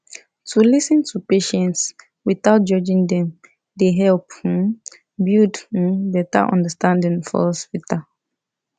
to lis ten to patients without judging dem dey help um build um better understanding for hospital